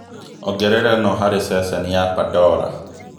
ongerera ĩno hari ceceni ya pandora